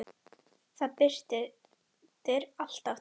Það birtir alltaf til.